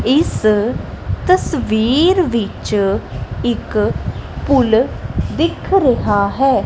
ਇੱਸ ਤਸਵੀਰ ਵਿੱਚ ਇੱਕ ਪੁੱਲ ਦਿੱਖ ਰਿਹਾ ਹੈ।